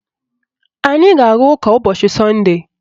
Anyị ga-aga ụka ụbọchị sọnde